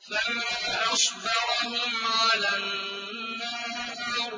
فَمَا أَصْبَرَهُمْ عَلَى النَّارِ